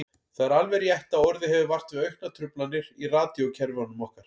Það er alveg rétt að orðið hefur vart við auknar truflanir í radíókerfunum okkar.